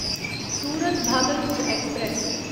Surat Bhagalpur express